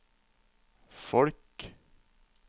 folk